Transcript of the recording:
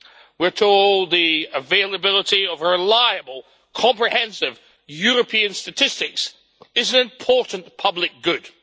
We are told the availability of reliable, comprehensive European statistics is an important public good.